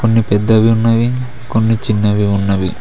కొన్ని పెద్దవి ఉన్నవి కొన్ని చిన్నవి ఉన్నవి.